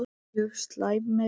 Mjög slæmir